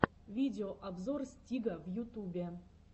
видеообзор стига в ютубе